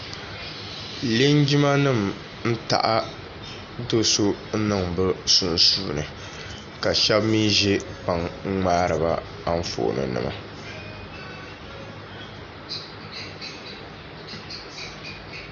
Linjima nima n taɣi doo so n niŋ bi sunsuuni ka shɛba mi zɛ kpaŋa n mŋari ba anfaani nima.